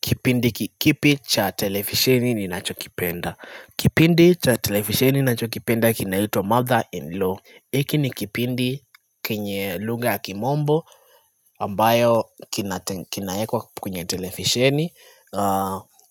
Kipindi kikipi cha telefisheni ninachokipenda Kipindi cha televisheni nachokipenda kinaitwa mother-in-law Iki ni kipindi kenye lugha ya kimombo ambayo kinate kinaekwa kwenye televisheni